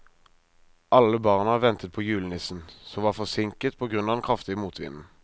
Alle barna ventet på julenissen, som var forsinket på grunn av den kraftige motvinden.